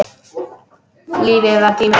Lífið var tíminn.